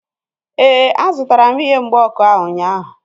Éè, a zụtara m ihe mgba ọkụ ahu ụnyaahụ